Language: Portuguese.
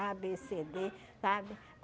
á, bê, cê, dê, sabe?